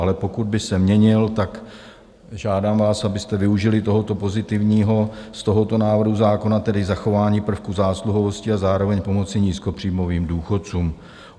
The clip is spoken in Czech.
Ale pokud by se měnil, tak žádám vás, abyste využili toho pozitivního z tohoto návrhu zákona, tedy zachování prvku zásluhovosti, a zároveň pomoci nízkopříjmovým důchodcům.